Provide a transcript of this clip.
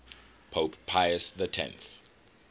pope pius x